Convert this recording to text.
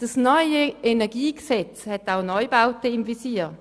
Das neue KEnG hat auch Neubauten im Visier.